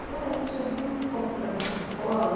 Agora, vamos um pouco para a sua escola.